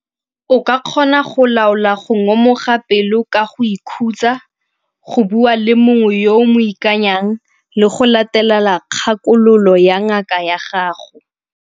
O ka kgona go laola go ngomoga pelo ka go ikhutsa, go bua le mongwe yo o mo ikanyang le go latela kgakololo ya ngaka ya gago.